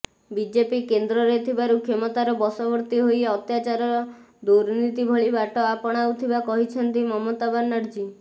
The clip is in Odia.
ବିଜେପି କେନ୍ଦ୍ରରେ ଥିବାରୁ କ୍ଷମତାର ବଶବର୍ତ୍ତୀ ହୋଇ ଅତ୍ୟାଚାର ଦୁର୍ନୀତି ଭଳି ବାଟ ଆପଣାଉଥିବା କହିଛନ୍ତି ମମତା ବାନାର୍ଜୀ